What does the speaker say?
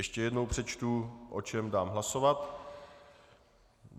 Ještě jednou přečtu, o čem dám hlasovat.